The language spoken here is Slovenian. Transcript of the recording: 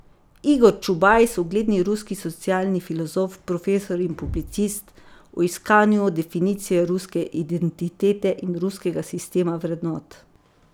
Igor Čubajs, ugledni ruski socialni filozof, profesor in publicist, o iskanju definicije ruske identitete in ruskega sistema vrednot.